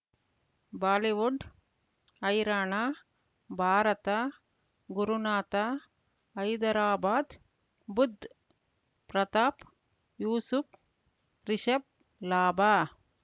Bollywood ಹೈರಾಣ ಭಾರತ ಗುರುನಾಥ ಹೈದರಾಬಾದ್ ಬುಧ್ ಪ್ರತಾಪ್ ಯೂಸುಫ್ ರಿಷಬ್ ಲಾಭ